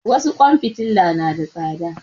Wasu ƙwan fitila na da tsada